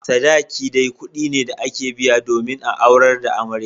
Sadaki dai kudi ne da ake biya domin a aurar da amarya.